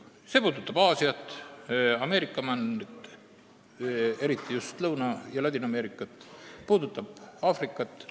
See puudutab Aasiat, Ameerika maailmajagu, eriti Lõuna- ja Ladina-Ameerikat, Aafrikat.